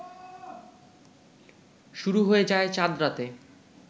শুরু হয়ে যায় চাঁদ রাতে